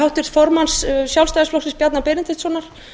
háttvirts formanns sjálfstæðisflokksins bjarna benediktssonar